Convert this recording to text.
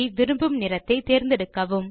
விரும்பும் நிறத்தை தேர்ந்தெடுக்கவும்